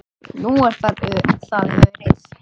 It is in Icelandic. Nú er það Örið.